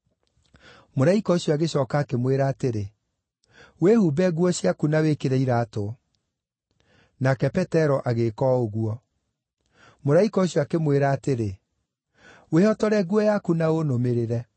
Mũraika ũcio agĩcooka akĩmwĩra atĩrĩ, “Wĩhumbe nguo ciaku na wĩkĩre iraatũ.” Nake Petero agĩĩka o ũguo. Mũraika ũcio akĩmwĩra atĩrĩ, “Wĩhotore nguo yaku na ũnũmĩrĩre.”